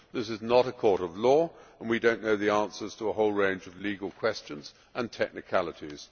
This is not a court of law and we do not know the answers to a whole range of legal questions and technicalities.